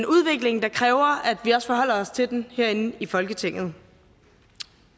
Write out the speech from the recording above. udvikling der kræver at vi også forholder os til den herinde i folketinget